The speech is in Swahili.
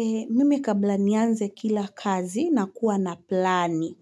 Eeeh, mimi kabla nianze kila kazi nakuwa na plani.